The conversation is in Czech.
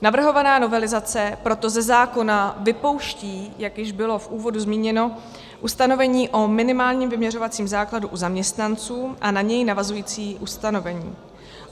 Navrhovaná novelizace proto ze zákona vypouští, jak už bylo v úvodu zmíněno, ustanovení o minimálním vyměřovacím základu u zaměstnanců a na něj navazující ustanovení.